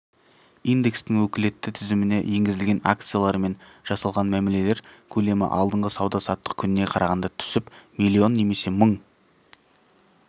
индекстің өкілетті тізіміне енгізілген акциялармен жасалған мәмілелер көлемі алдыңғы сауда-саттық күніне қарағанда түсіп млн немесе мың